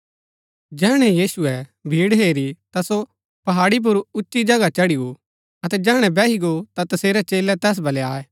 जैहणै यीशुऐ भीड़ हेरी ता सो पहाड़ी पुर उची जगह चढ़ी गो अतै जैहणै बैही गो ता तसेरै चेलै तैस बलै आये